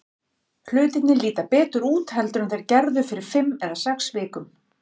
Hlutirnir líta betur út heldur en þeir gerðu fyrir fimm eða sex vikum.